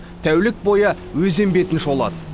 тәулік бойы өзен бетін шолады